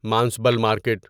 Manasbal market